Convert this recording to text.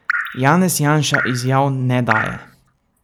Janez Janša izjav ne daje.